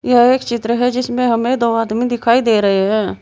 यह एक चित्र है जिसमें हमे दो आदमी दिखाई दे रहे हैं।